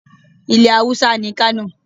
Ilẹ̀ Haúsá ni Kano.